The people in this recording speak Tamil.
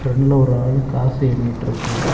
ஃபிரண்ட்ல ஒரு ஆளு காசு எண்ணிட்டுருக்காரு.